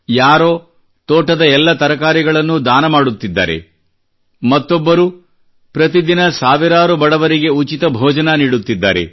ಯಾರೋ ತೋಟದ ಎಲ್ಲ ತರಕಾರಿಗಳನ್ನು ದಾನ ಮಾಡುತ್ತಿದ್ದಾರೆ ಮತ್ತೊಬ್ಬರು ಪ್ರತಿದಿನ ಸಾವಿರಾರು ಬಡವರಿಗೆ ಉಚಿತ ಭೋಜನ ನೀಡುತ್ತಿದ್ದಾರೆ